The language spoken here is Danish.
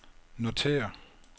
notér